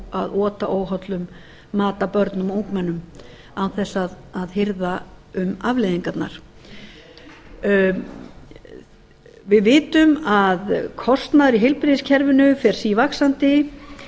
að ota óhollum mat að börnum og ungmennum án þess að hirða um afleiðingarnar við vitum að kostnaður í heilbrigðiskerfinu fer sívaxandi